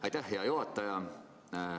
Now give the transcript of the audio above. Aitäh, hea juhataja!